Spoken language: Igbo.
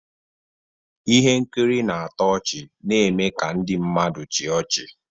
Ihe nkiri na-atọ ọchị na-eme ka ndị mmadụ chịa ọchị.